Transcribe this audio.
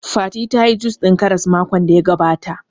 Fati tayi jus ɗin Karas makon da ya gabata